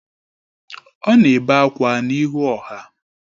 Ọ na-ebe akwa n’ihu ọha